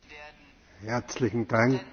Meine Damen und Herren!